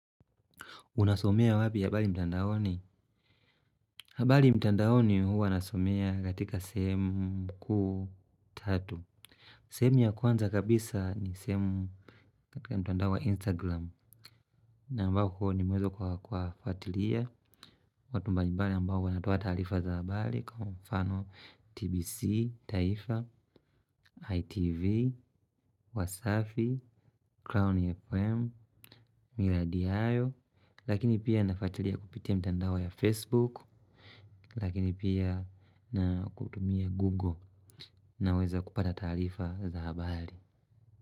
Unasomea wapi habari mtandaoni? Habari matandoni huwa nasomea katika sehemu kuu tatu. Sehemu ya kwanza kabisa ni sehemu katika mtandao wa Instagram. Na ambako nimeweza kwa fwatilia. Watu mbali mbali ambao wanatoa taarifa za habari. Kwa mfano TBC, Taifa, ITV, Wasafi, Crown FM, Miradiayo. Lakini pia nafuatilia kupitia mtandao ya Facebook. Lakini pia na kutumia Google naweza kupata taarifa za habari.